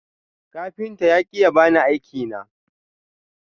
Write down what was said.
Kafinta ya ki ya bani aiki na.